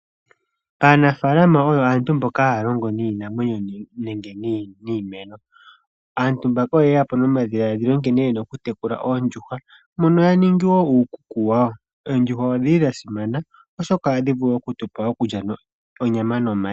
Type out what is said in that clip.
Aanafalama oyo aantu mboka haya longo niinamwenyo, nenge niimeno. Aantu mbaka oyeyapo nomadhiladhilo nkene yena okutekula oondjuhwa, mono yaningi wo nuukuku wawo. Oondjuhwa odhili dhasimana, oshoka ohadhi vulu okutupa onyama nomayi.